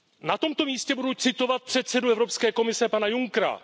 Na tomto místě budu citovat předsedu Evropské komise, pana Junckera.